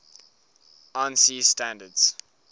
ansi standards